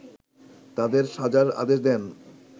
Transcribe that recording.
তাদের সাজার আদেশ দেন